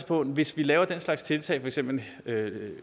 på hvis vi laver den slags tiltag for eksempel